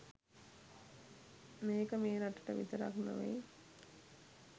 මේක මේ රටට විතරක් නොවෙය්